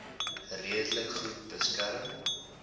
redelik goed beskerm